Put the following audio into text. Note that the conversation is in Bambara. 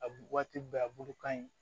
A bu waati bɛɛ a bulu ka ɲi